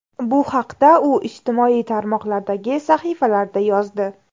Bu haqda u ijtimoiy tarmoqlardagi sahifalarida yozdi .